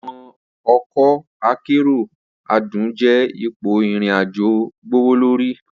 Awọn ọkọ akero adun jẹ ipo irin-ajo gbowolori.